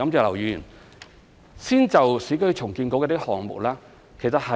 我先就有關市建局的項目作回應。